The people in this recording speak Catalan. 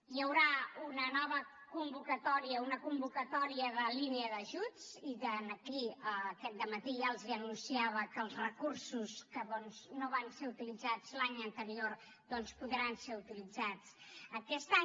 hi haurà una nova convocatòria una convocatòria de línia d’ajuts i aquí aquest dematí ja els anunciava que els recursos que no van ser utilitzats l’any anterior doncs podran ser utilitzats aquest any